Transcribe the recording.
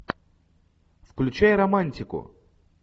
включай романтику